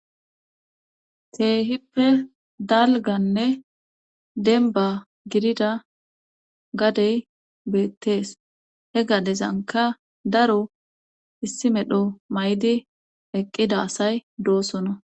Keehippe dalganne denba gidida gadey beettees he gadezanka daro issi medho may7di eqqida asay doosona.